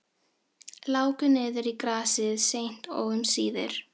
Láku niður í grasið seint og um síðir.